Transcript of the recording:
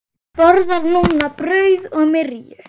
Borðar núna brauð og myrju.